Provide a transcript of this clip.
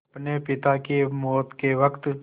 अपने पिता की मौत के वक़्त